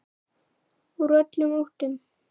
Úr öllum áttum.